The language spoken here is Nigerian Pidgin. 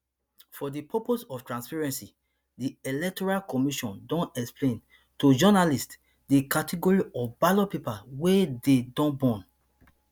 for di purpose of transparency di electoral commission don explain to journalists di category of ballot papers wia dey don burn